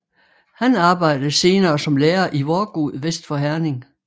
Han arbejdede senere som lærer i Vorgod vest for Herning